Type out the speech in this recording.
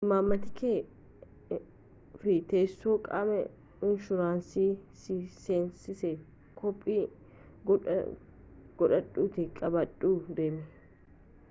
imaammata kee fi teessoo qaama inshuraansii si seensisee koppii godhadhuutii qabadhuu deemi